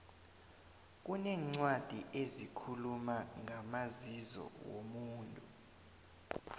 kuneencwadi ezikhuluma ngamazizo womuntu